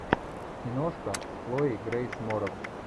киношка с хлоей грейс морец